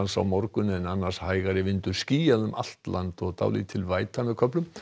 á morgun en annars hægari vindur skýjað um allt land og dálítil væta með köflum